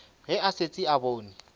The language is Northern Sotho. ge a šetše a bone